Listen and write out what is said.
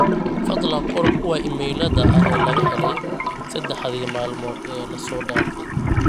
fadlan qor kuwa iimaylada ah ee laga helay saddexdii maalmood ee la soo dhaafay